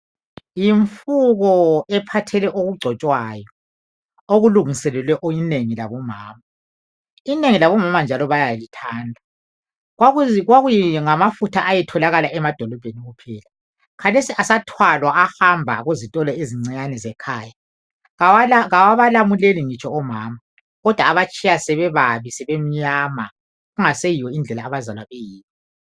Yimfuko ephathele okugcotshwayo okulungiselelwe inengi labomama. Inengi labomama bayazithanda. Kwakungamafutha ayetholakala emadolobheni kuphela khathesi asathwalwa ahamba kuzitolo ezicinyane ezisekhaya. Awabalamuleli ngitsho omama kodwa abatshiya sebebabi elsebemnyama kungasendlela abazalwa beyiyo.